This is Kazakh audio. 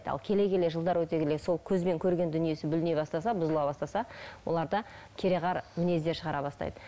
ал келе келе жылдар өте келе сол көзбен көрген дүниесі бүліне бастаса бұзыла бастаса оларда кереғар мінездер шығара бастайды